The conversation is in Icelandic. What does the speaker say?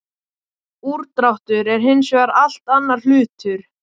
Úrdráttur er hins vegar allt annar hlutur.